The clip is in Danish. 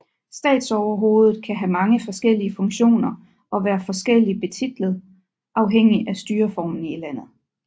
Statsoverhovedet kan have mange forskellige funktioner og være forskelligt betitlet afhængig af styreformen i landet